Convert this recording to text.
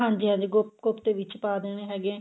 ਹਾਂਜੀ ਹਾਂਜੀ ਕੋਫਤੇ ਵਿੱਚ ਪਾ ਦੇਣੇ ਹੈਗੇ